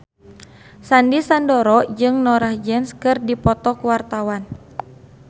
Sandy Sandoro jeung Norah Jones keur dipoto ku wartawan